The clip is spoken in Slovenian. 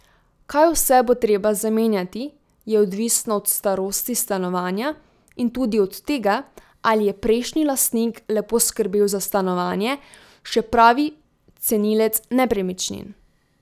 Kaj vse bo treba zamenjati, je odvisno od starosti stanovanja in tudi od tega, ali je prejšnji lastnik lepo skrbel za stanovanje, še pravi cenilec nepremičnin.